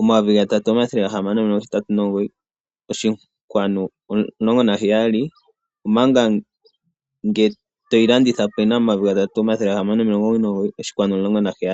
omayovi gatatu omathele gahamano omilongo hetatu nomugoyi, oshinkwanu omulongo naheyali. Omanga ngele toyi landitha po oyina omayoyi gatatu omathele gahamano omilongo omugoyi nomugoyi oshinkwanu omulongo naheyali.